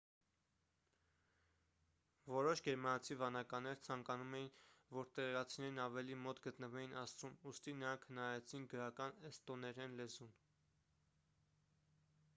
որոշ գերմանացի վանականներ ցանկանում էին որ տեղացիներն ավելի մոտ գտնվեին աստծուն ուստի նրանք հնարեցին գրական էստոներեն լեզուն